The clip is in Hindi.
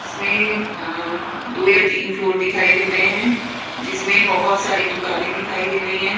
इसमें अ दो या तीन फ्लोर दिखाई दे रहे हैं जिसमें बहोत सारी दुकाने दिखाई दे रही हैं।